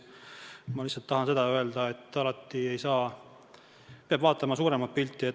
Ma tahan lihtsalt öelda, et peab vaatama suuremat pilti.